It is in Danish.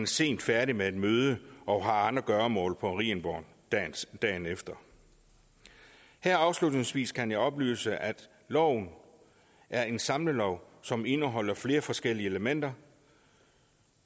sent færdig med et møde og har andre gøremål på marienborg dagen efter her afslutningsvis kan jeg oplyse at loven er en samlelov som indeholder flere forskellige elementer